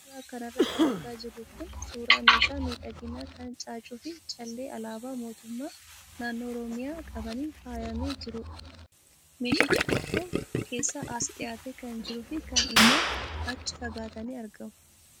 Suuraa kanarra kan argaa jirru kun suuraa meeshaa miidhaginaa kan caaccuu fi callee alaabaa mootummaa naannoo oromiyaa qabaniin faayamee jirudha. Meeshichi tokko keessaa as dhiyaatee kan jiruu fi kaan immoo achi fagaatanii argamu.